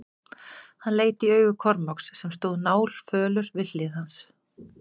Hann leit í augu Kormáks sem stóð náfölur við hlið hans.